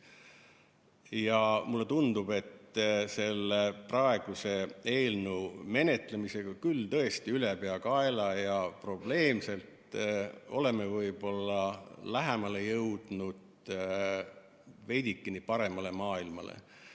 Ja mulle tundub, et selle praeguse eelnõu menetlemisega, küll tõesti ülepeakaela ja probleemselt, oleme võib-olla lähemale jõudnud veidikene paremale maailmale.